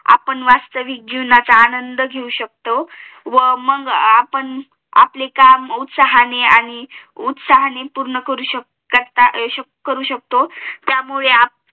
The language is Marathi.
आपण वास्तविक जीवनाचा आंनद घेऊ शकतो व आपण आपले काम उत्साहाने आणि उतसाहाने पूर्ण करू शकतो